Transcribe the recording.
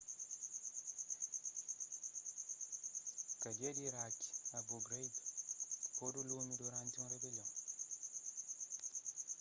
kadia di iraki abu ghraib podu lumi duranti un ribelion